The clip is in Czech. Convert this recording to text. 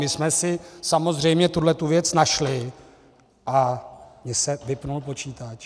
My jsme si samozřejmě tuhle věc našli... a mně se vypnul počítač.